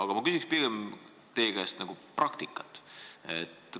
Aga ma küsin teie käest pigem praktika kohta.